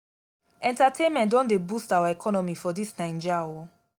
entertainment don dey boost our economy for dis naija o.